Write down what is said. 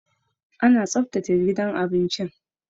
Ana tsaftace gidan abinci